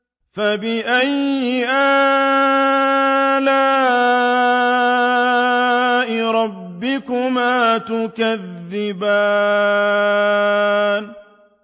فَبِأَيِّ آلَاءِ رَبِّكُمَا تُكَذِّبَانِ